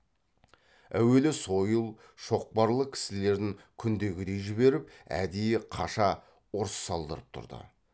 әуелі сойыл шоқпарлы кісілерін күндегідей жіберіп әдейі қаша ұрыс салдырып тұрды